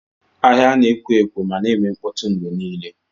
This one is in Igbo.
Ahịa na-ekwo ekwo ma na-eme mkpọtụ mgbe niile.